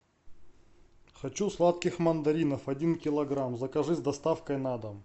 хочу сладких мандаринов один килограмм закажи с доставкой на дом